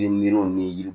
Yiri miiriw ni yiriw